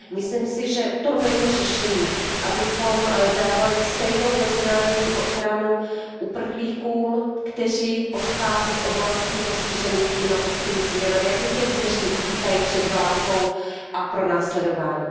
Myslím si, že to není řešení, abychom dávali stejnou mezinárodní ochranu uprchlíkům, kteří odchází z oblastí postižených klimatickými změnami, jako těm, kteří utíkají před válkou a pronásledováním.